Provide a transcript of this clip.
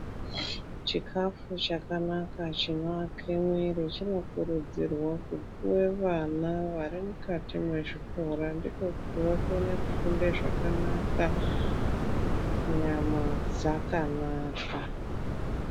Chikafu chakanaka chinovake mwiri chinokurudzirwa kupuwe vana varimukati mezvikora, kuti vakone kufunda zvakanaka nyama dzakanaka.